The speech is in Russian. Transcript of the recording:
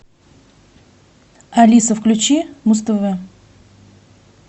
алиса включи муз тв